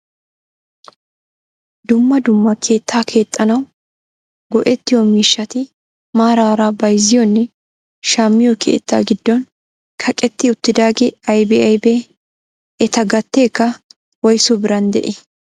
Dumma dumma keettaa keexxanawu go"ettiyoo miishshati maarara bayzziyoonne shammiyoo keettaa giddon kaqetti uttidaagee aybee aybee? eta gateekka woysu biran de'ii?